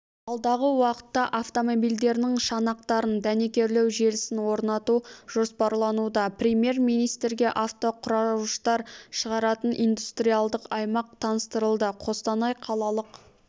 алдағы уақытта автомобильдерінің шанақтарын дәнекерлеу желісін орнату жоспарлануда премьер-министрге автоқұраушытар шығаратын индустриялдық аймақ таныстырылды қостанай қалалық